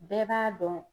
Bɛɛ b'a dɔn